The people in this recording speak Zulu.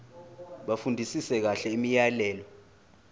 bafundisise kahle imiyalelo